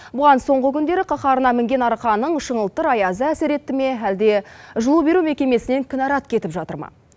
бұған соңғы күндері қаһарына мінген арқаның шыңылтыр аязы әсер етті ме әлде жылу беру мекемесінен кінәрат кетіп жатыр ма